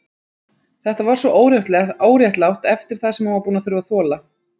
Það var svo óréttlátt eftir það sem hún var búin að þurfa að þola.